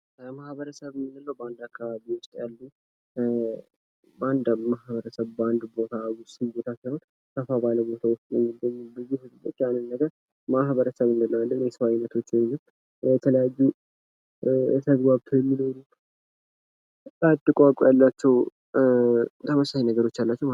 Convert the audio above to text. ማህበረሰብ የጋራ ችግሮችን ለመፍታት አባላቱን ያስተባብራል፤ ቤተሰብ ደግሞ በችግር ጊዜ የድጋፍ ምንጭ ይሆናል